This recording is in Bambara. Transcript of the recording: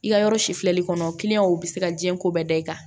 I ka yɔrɔ si filɛli kɔnɔ u bɛ se ka diɲɛ ko bɛɛ da i kan